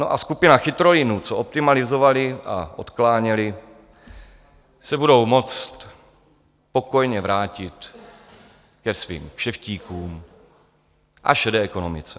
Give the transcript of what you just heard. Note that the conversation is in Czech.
No a skupina chytrolínů, co optimalizovali a odkláněli, se budou moci pokojně vrátit ke svým kšeftíkům a šedé ekonomice.